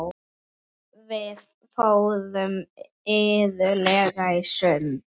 Við fórum iðulega í sund.